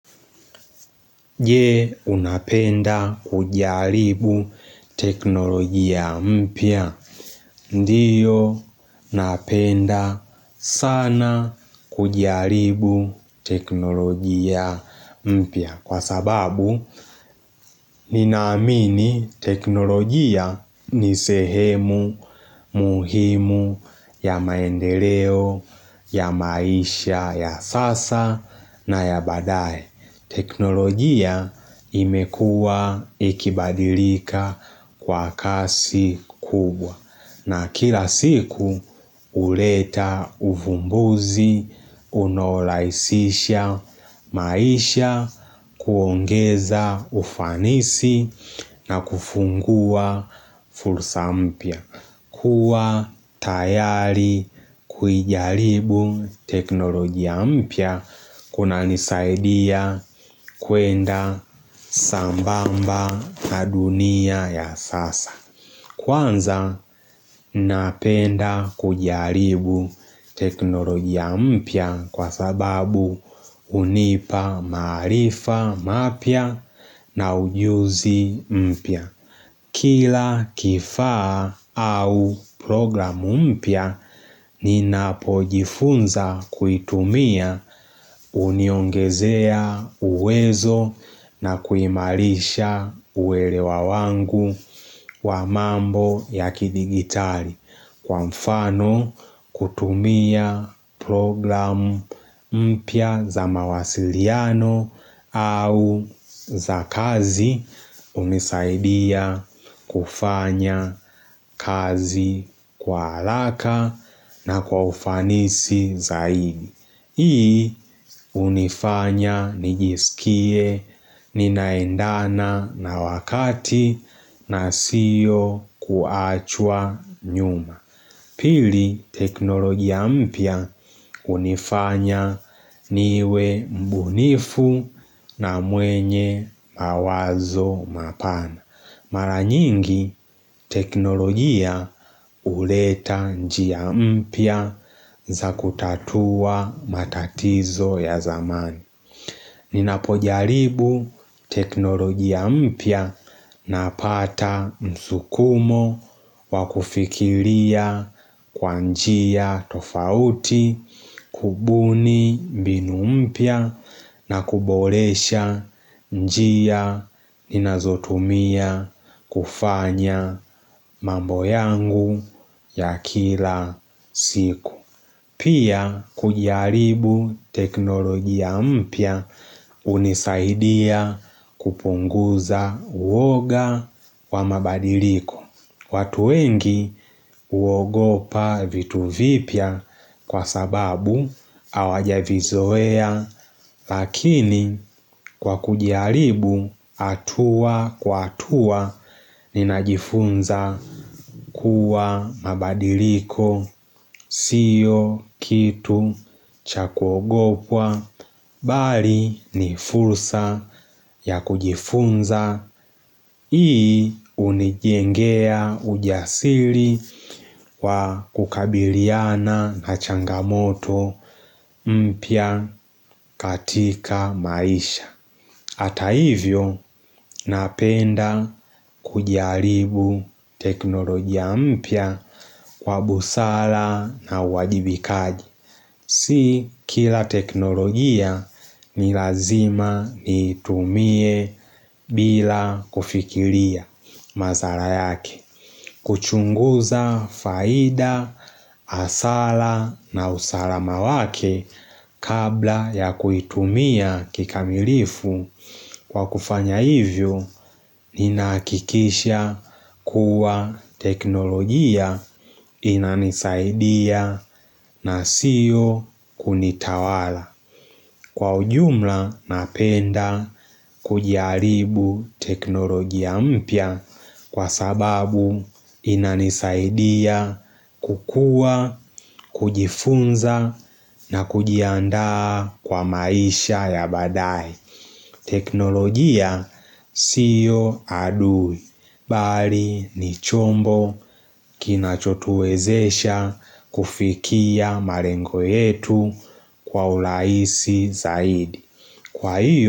Je, unapenda kujaribu teknolojia mpya. Ndio, napenda sana kujaribu teknolojia mpya. Kwa sababu, ninaamini teknolojia ni sehemu muhimu ya maendeleo, ya maisha, ya sasa, na ya badae. Teknolojia imekua ikibadilika kwa kasi kubwa na kila siku uleta uvumbuzi, unorahisisha maisha, kuongeza ufanisi na kufungua fursa mpya. Kuwa tayari kujaribu teknolojia mpya kuna nisaidia kwenda sambamba na dunia ya sasa. Kwanza napenda kujaribu teknolojia mpya kwa sababu unipa maarifa mapya na ujuzi mpya. Kila kifaa au program mpya ni napojifunza kuitumia uniongezea uwezo na kuimarisha uelewa wangu wa mambo ya kidigitali. Kwa mfano kutumia program mpya za mawasiliano au za kazi unisaidia kufanya kazi kwa haraka na kwa ufanisi zaidi. Hii unifanya nijisikie ninaendana na wakati na siyo kuachwa nyuma. Pili teknologia mpya unifanya niwe mbunifu na mwenye mawazo mapana. Mara nyingi teknolojia uleta njia mpya za kutatua matatizo ya zamani. Ninapojaribu teknolojia mpya na pata msukumo wa kufikiria kwa njia tofauti, kubuni mbinu mpya na kuboresha njia ninazotumia kufanya mambo yangu ya kila siku. Pia kujiaribu teknoloji ya mpya unisaidia kupunguza uwoga wa mabadiliko. Watu wengi uogopa vitu vipya kwa sababu awajavizoea lakini kwa kujaribu atua kwa atua ninajifunza kuwa mabadiliko siyo kitu cha kugopwa Bali ni fursa ya kujifunza, ii unijengea ujasiri wa kukabiliana na changamoto mpya katika maisha Hata hivyo napenda kujaribu teknolojia mpya kwa busara na uwajibikaji Si kila teknolojia ni lazima nitumie bila kufikiria mazara yake kuchunguza faida hasara na usalama wake kabla ya kuitumia kikamilifu Kwa kufanya hivyo, ninahakikisha kuwa teknolojia inanisaidia na sio kunitawala. Kwa ujumla napenda kujaribu teknolojia mpya kwa sababu inanisaidia kukua, kujifunza na kujiandaa kwa maisha ya baadae teknolojia sio adui, bali ni chombo kinachotuwezesha kufikia malengo yetu kwa urahisi zaidi.